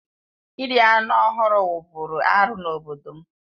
Iri anụ ọhụrụ wụ́bụ́ru arụ n'obodo m